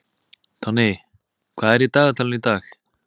Tonni, hvað er í dagatalinu í dag?